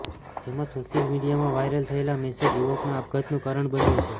જેમાં સોશિયલ મીડિયામા વાઈરલ થયેલો મેસેજ યુવકના આપઘાતનું કારણ બન્યું છે